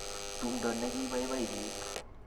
tumdo ne koibaibai piik